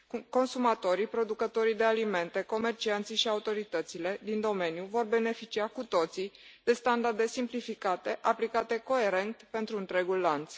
Consumatorii, producătorii de alimente, comercianții și autoritățile din domeniu vor beneficia cu toții de standarde simplificate, aplicate coerent pentru întregul lanț.